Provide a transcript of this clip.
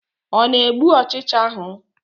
Ọ na-egbu ọchịcha ahụ?